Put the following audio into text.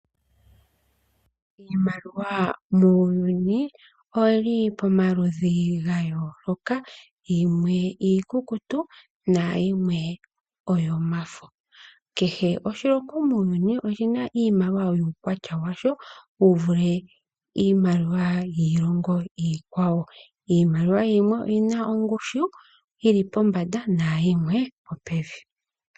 Iimaliwa muuyuni oyili pomaludhi ga yooloka, yimwe iikukutu na yimwe oyo mafo. Kehe oshilongo muuyuni oshina iimaliwa yuukwatya washo wu vule iimaliwa yiilongo iikwawo. Iimaliwa yimwe oyina ongushu, yili pombanda nayimwe opevi.